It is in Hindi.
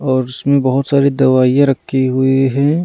और इसमें बहुत सारी दवाइयाँ रखी हुई हैं।